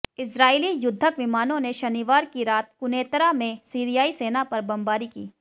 इस्राईली युद्धक विमानों ने शनिवार की रात क़ुनैतरा में सीरियाई सेना पर बमबारी की